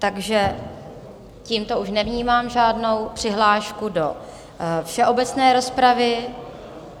Takže tímto už nevnímám žádnou přihlášku do všeobecné rozpravy.